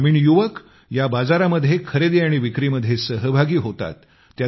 ग्रामीण युवक या बाजारामध्ये खरेदी आणि विक्रीमध्ये सहभागी होतात